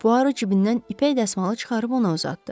Puaro cibindən ipək dəsmalı çıxarıb ona uzatdı.